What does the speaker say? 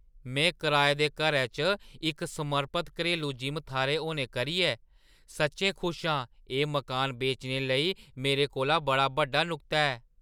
में कराए दे घरै च इक समर्पत घरेलू जिम थाह्‌र होने करियै सच्चैं खुश आं-एह् मकान बेचने लेई मेरे कोल बड़ा बड्डा नुक्ता ऐ।